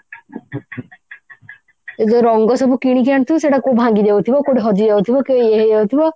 ଏଇ ଯଉ ରଙ୍ଗ ସବୁ କିଣିକି ଆଣୁଥିବୁ ସେଟା କଉଠି ଭାଙ୍ଗିଯାଉଥିବ କଉଠି ହଜି ଯାଉଥିବ କି ଇଏ ହେଇଯାଉଥିବ